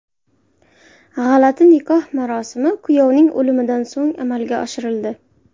G‘alati nikoh marosimi kuyovning o‘limidan so‘ng amalga oshirildi.